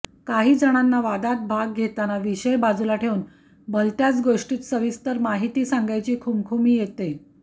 काहीजणांना वादात भाग घेताना विषय बाजूला ठेवून भलत्याच गोष्टीत सविस्तर माहिती सांगायची खुमखुमी येते